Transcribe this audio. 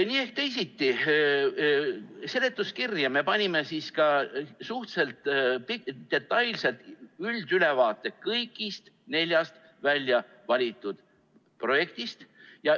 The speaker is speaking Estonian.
Nii ehk teisiti, seletuskirja me panime suhteliselt detailselt üldülevaate kõigist neljast väljavalitud projektist.